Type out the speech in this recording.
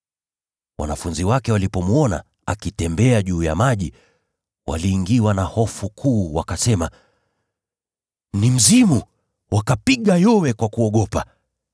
Wanafunzi wake walipomwona akitembea juu ya maji, waliingiwa na hofu kuu, wakasema, “Ni mzimu.” Wakapiga yowe kwa kuogopa.